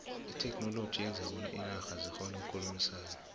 itheknoloji yenza bona iinarha zikgone ukukhulumisana